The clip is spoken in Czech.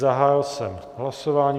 Zahájil jsem hlasování.